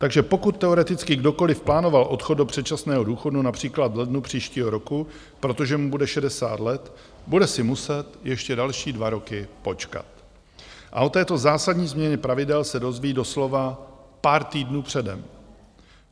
Takže pokud teoreticky kdokoliv plánoval odchod do předčasného důchodu například v lednu příštího roku, protože mu bude 60 let, bude si muset ještě další dva roky počkat a o této zásadní změně pravidel se dozví doslova pár týdnů předem.